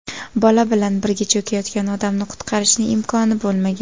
Bola bilan birga cho‘kayotgan odamni qutqarishning imkoni bo‘lmagan.